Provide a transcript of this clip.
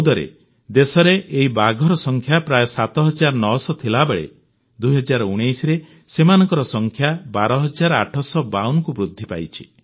2014ରେ ଦେଶରେ ଏହି ବାଘର ସଂଖ୍ୟା ପ୍ରାୟ 7900 ଥିବାବେଳେ 2019ରେ ସେମାନଙ୍କ ସଂଖ୍ୟା 12852କୁ ବୃଦ୍ଧି ପାଇଛି